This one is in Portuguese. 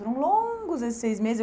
Foram longos esses seis meses.